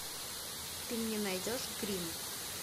ты мне найдешь гримм